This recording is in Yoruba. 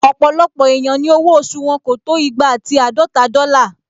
Ọ̀pọ̀lọpọ̀ èèyàn ni owó oṣù wọn kò tó igba ati àádọta dọ́là